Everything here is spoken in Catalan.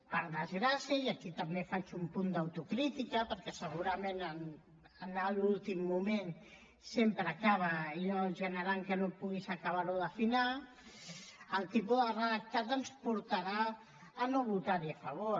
per desgràcia i aquí també faig un punt d’autocrítica perquè segurament anar a l’últim moment sempre acaba allò generant que no puguis acabar ho d’afinar el tipus de redactat ens portarà a no votar hi a favor